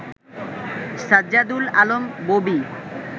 Sajjadul Alam Bobby